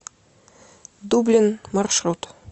дублин маршрут